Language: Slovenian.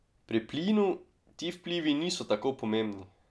Pri plinu ti vplivi niso tako pomembni.